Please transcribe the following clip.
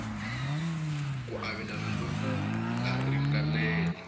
ku avelana loku nga ringanela